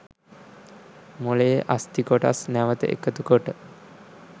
මොළයේ අස්ථි කොටස් නැවත එකතු කොට